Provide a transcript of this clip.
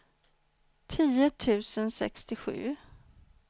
tio tusen sextiosju